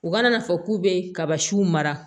U ka na fɔ k'u be kabasiw mara